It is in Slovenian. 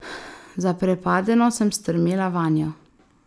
Zaprepadeno sem strmela vanjo.